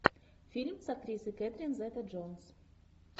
фильм с актрисой кетрин зета джонс